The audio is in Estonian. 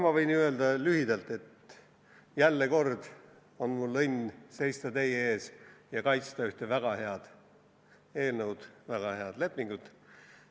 Ma võin ju lühidalt öelda, et jälle kord on mul õnn seista teie ees ja kaitsta ühte väga head eelnõu, väga head lepingut.